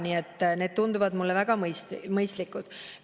Nii et need tunduvad mulle väga mõistlikud.